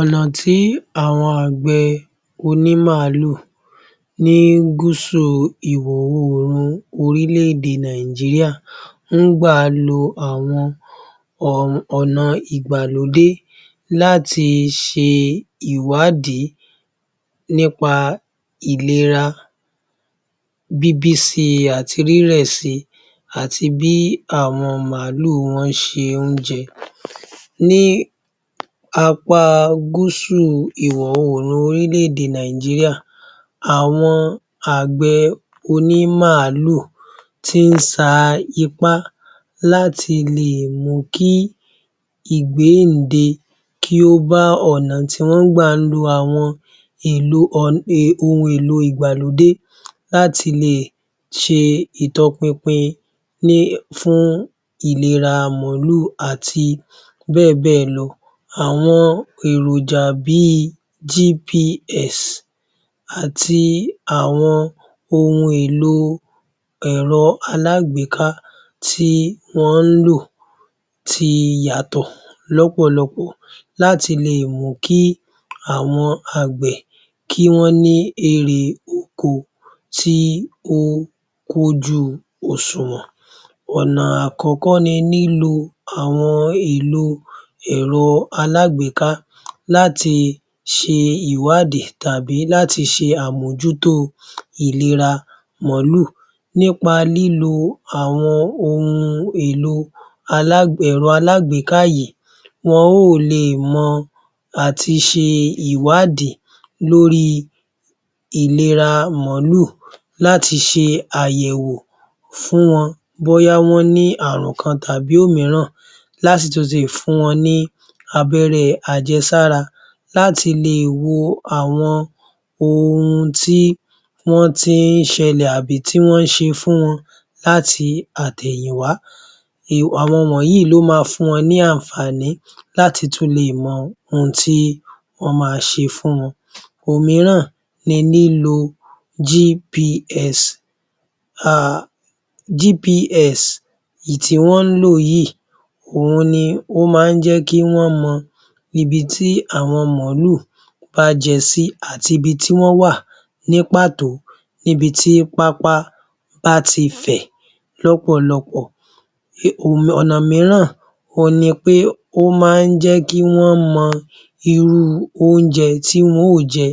Ọ̀nà tí àwọn àgbẹ̀ onímàálù ní gúúsù ìwọ̀ oòrùn orílẹ-èdè Nàìjíríà ń gbà lo àwọn ònà ìgbàlódé láti ṣe ìwádìí nípa ìlera bíbí si àti rírẹ̀ si àti bí àwọn màálù wọn ṣe ń jẹun ní apá gúúsù ìwọ̀ oòrùn orílẹ-èdè Nàìjíríà àwọn àgbẹ̀ onímàálù tí ń sa ipá láti le mú kí ìgbẹ́ǹde kí ó bá ọ̀nà tí wón ń gbà lo àwọn ohun èlò ìgbàlódé láti le ṣe ìtọpinpin ní fún ìlera màálù àti béè béè lọ. Àwọn èròjà bí i GPS àti àwọn ohun èlò ẹ̀rọ aláàgbéká tí wọ́n ń lò ti yàtọ̀ lọ́pọ̀lọpọ̀ láti le mú kí àwọn àgbẹ̀ kí wón ní erè oko tí ó kójú òṣùwọ̀n. Ònà àkọ́kọ́ ni lílo àwọn ìlo èro alágbèéká láti ṣe ìwádìí tàbí láti ṣe àmójútó ìlera màálù, nípa lílo àwọn ohun èlò ẹ̀rọ aláàgbéká yìí. Wọn yóò leè mọ àtiṣe ìwádìí lórí ìlera màálù láti ṣe àyẹ̀wò fún wọn, bóyá wón ní ààrun kan tàbí òmíràn láti tún fi fún wọn ní abẹ́rẹ́ àjẹsára láti le wo àwọn ohun tí wọ́n ti ń ṣẹlẹ̀ tàbí tí wọ́n ń ṣe fún wọn láti àtẹ̀yìnwá. Àwọn wọ̀nyí ni ó máa fún wọn ní anfààní láti tún le mọ ohun tí wón máa ṣe fún wọn òmíràn ni lílo GPS. GPS ìtí wọ́n lò yìí òhun ni o máa ń jẹ́ kí wón mọ ibi tí àwọn màálù bá jẹ sí àti ibi tí wón wà ní pàtó ní ibi tí pápá bá ti fẹ̀ lọ́pọ̀lọpọ̀. Ònà mìíràn òhun ni pé ó máa ń jẹ́ kí wón mọ̀ irú oúnjẹ tí wọ́n óò jẹ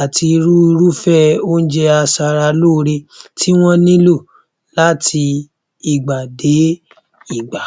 àti irú irúfẹ́ oúnjẹ aṣaralóore tí wọ́n nílọ̀ láti ìgbà dé ìgbà.